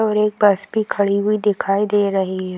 और एक बस भी खड़ी हुई दिखाई दे रही है।